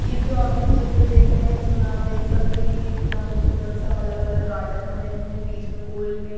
ये जो आप एक चित्र देख रहे हैं इसमें आप देख सकते हैं कि कितना खूबसूरत सा अलग अलग गार्डन बने हुए हैं बीच में गोल में--